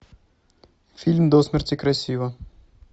фильм до смерти красива